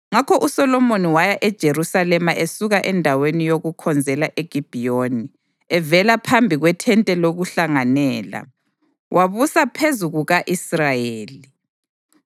Ngakho uSolomoni waya eJerusalema esuka endaweni yokukhonzela eGibhiyoni, evela phambi kwethente lokuhlanganela. Wabusa phezu kuka-Israyeli.